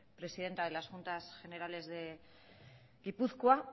presidenta de las juntas generales de gipuzkoa